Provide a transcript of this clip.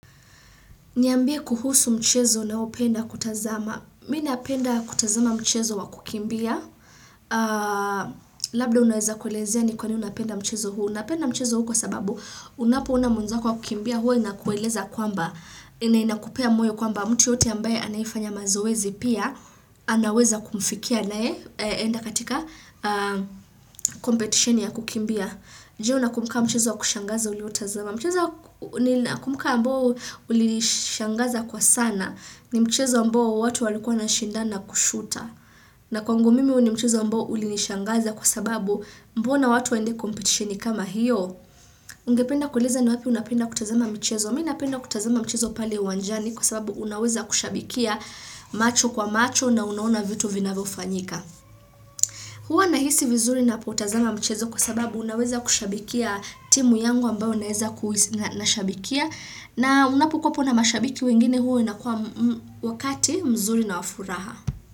Niambie kuhusu mchezo unaopenda kutazama. Mi napenda kutazama mchezo wa kukimbia. Labda unaweza kuelezea ni kwa nini unapenda mchezo huu. Napenda mchezo huu kwa sababu unapoona mwenzako akikimbia huwa inakueleza kwamba. Na inakupea moyo kwamba mtu yeyote ambaye anaifanya mazoezi pia. Anaweza kumfikia anayeenda katika competition ya kukimbia. Ndio nakumbuka mchezo wa kushangaza uliotazama. Mchezo ninakumbuka ambao ulinishangaza kwa sana, ni mchezo ambao watu walikua wanashindana kushuta. Na kwangu mimi huu ni mchezo ambao ulinishangaza kwa sababu mbona watu waende kompetitioni kama hiyo. Ungependa kueleza ni wapi unapenda kutazama michezo. Mi napenda kutazama mchezo pale uwanjani kwa sababu unaweza kushabikia macho kwa macho na unaona vitu vinavyofanyika. Huwa nahisi vizuri napotazama mchezo kwa sababu naweza kushabikia timu yangu ambayo naweza kushabikia na unapokuwa hapo na mashabiki wengine huwa inakuwa wakati mzuri na wa furaha.